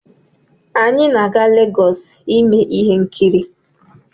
Anyị na-aga Legọs ime ihe nkiri.